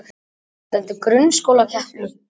Það sat lengi í mér.